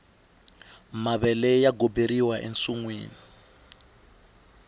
mavele ya goberiwa ensinwini